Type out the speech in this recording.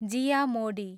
जिया मोडी